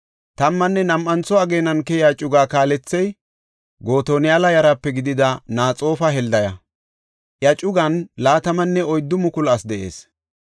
Tammanne nam7antho ageenan keyiya cugaa kaalethey Gotoniyala yaraape gidida Naxoofa Heldaya; iya cugan 24,000 asi de7ees.